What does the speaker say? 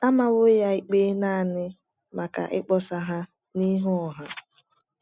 A mawo ya ikpe nanị maka ịkpọsa ha n’ihu ọha.